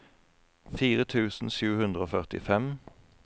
fire tusen sju hundre og førtifem